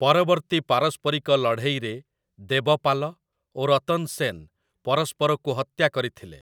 ପରବର୍ତ୍ତୀ ପାରସ୍ପରିକ ଲଢ଼େଇରେ ଦେବପାଲ ଓ ରତନ ସେନ ପରସ୍ପରକୁ ହତ୍ୟା କରିଥିଲେ ।